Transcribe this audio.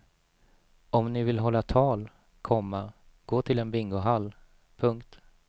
Om ni vill hålla tal, komma gå till en bingohall. punkt